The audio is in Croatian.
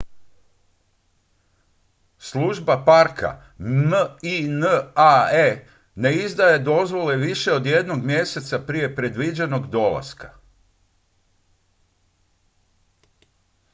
služba parka minae ne izdaje dozvole više od jednog mjeseca prije predviđenog dolaska